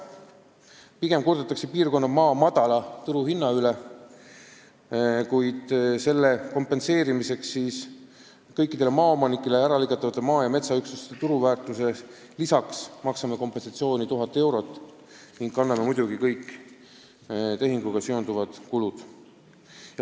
Pigem kurdetakse piirkonna maa madala turuhinna üle, kuid selle hüvitamiseks me maksame kõikidele maaomanikele äralõigatavate maa- ja metsaüksuste turuväärtusele lisaks kompensatsiooni 1000 eurot ning kanname muidugi kõik tehinguga seonduvad kulud.